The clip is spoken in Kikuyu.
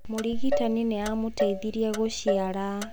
Mũrigitani nĩ aamũteithirie gũciara.